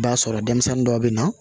B'a sɔrɔ denmisɛnnin dɔw bɛ na